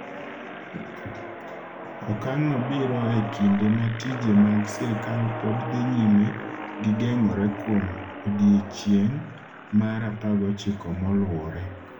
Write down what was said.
Okang’no biro e kinde ma tije mag sirkal pod dhi nyime gi geng’ore kuom odiechieng’ mar 19 moluwore.